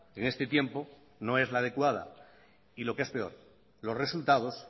en este tiempo no es la adecuada y lo que es peor los resultados